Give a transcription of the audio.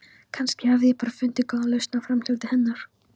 Kannski hafði ég bara fundið góða lausn á framhjáhaldi hennar.